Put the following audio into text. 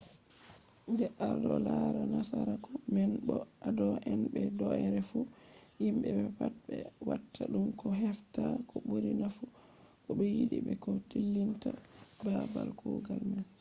de ado lara nasaraku man bo ado anda be do’ere fu himbe be pat be watta dum do hefta ko buri nafu ko be yidi be ko dillinta babal kugal man